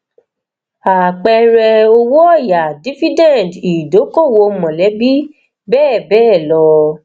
apẹẹrẹ owó oya dividend idokoowo mọlẹbi bẹẹ bẹẹ lọ